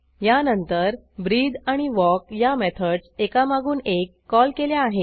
यानंतर ब्रीथ आणि वॉक या मेथडस एकामागून एक कॉल केल्या आहेत